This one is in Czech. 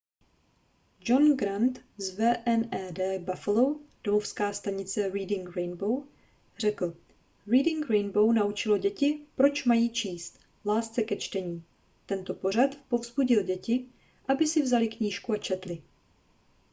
john grant z wned buffalo domovská stanice reading rainbow řekl: reading rainbow naučilo děti proč mají číst... lásce ke čtení — [tento pořad] povzbudil děti aby si vzaly knížku a četly.